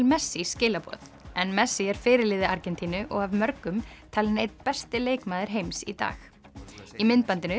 messi skilaboð en messi er fyrirliði Argentínu og af mörgum talinn einn besti leikmaður heims í dag í myndbandinu